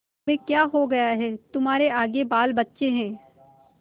तुम्हें क्या हो गया है तुम्हारे आगे बालबच्चे हैं